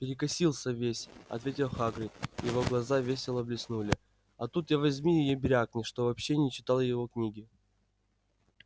перекосился весь ответил хагрид и его глаза весело блеснули а тут я возьми и брякни что вообще не читал его книги